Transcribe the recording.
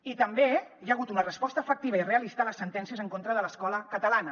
i també hi ha hagut una resposta efectiva i realista a les sentències en contra de l’escola catalana